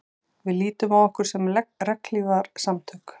Við lítum á okkur sem regnhlífarsamtök